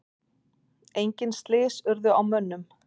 Engin slys urðu á mönnum.